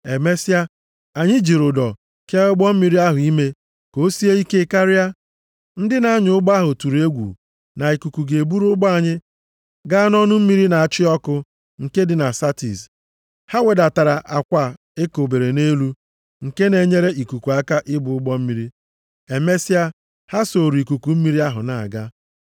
Emesịa, anyị jiri ụdọ kee ụgbọ mmiri ahụ ime ka o sie ike karịa. Ndị na-anya ụgbọ ahụ tụrụ egwu na ikuku ga-eburu ụgbọ anyị gaa nʼọnụ mmiri na-achị ọkụ nke dị na Satis. Ha wedatara akwa e kobere nʼelu, nke na-enyere ikuku aka ibu ụgbọ mmiri. Emesịa, ha sooro ikuku mmiri ahụ na-aga.